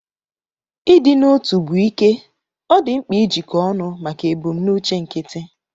Ịdị n'otu bụ ike; ọ dị mkpa ijikọ ọnụ maka ebumnuche nkịtị.